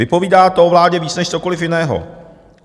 Vypovídá to o vládě víc než cokoliv jiného.